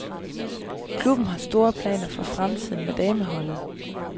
Klubben har store planer for fremtiden med dameholdet.